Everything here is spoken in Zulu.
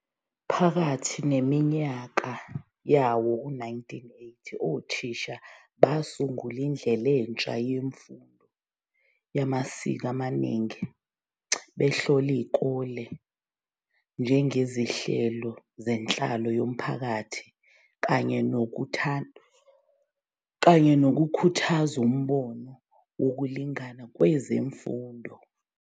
Phakathi neminyaka yawo-1980, othisha basungula indlela entsha yemfundo yamasiko amaningi, behlola izikole njengezinhlelo zenhlalo yomphakathi kanye nokukhuthaza umbono wokulingana kwezemfundo.